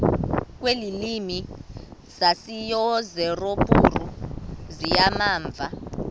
kwiilwimi zaseyurophu zizimamva